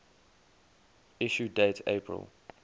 issue date april